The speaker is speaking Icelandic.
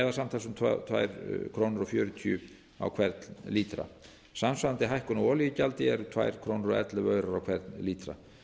um tvö komma fjörutíu krónur á hvern lítra samsvarandi hækkun á olíugjaldi er tvö komma ellefu krónur á hvern lítra